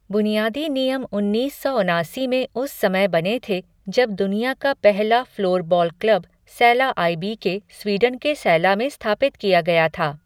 बुनियादी नियम उन्नीस सौ उनासी में उस समय बने थे जब दुनिया का पहला floorball club Sala I B K. Sweden के सैला में स्थापित किया गया था।